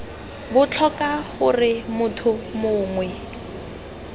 b tlhoka gore motho mongwe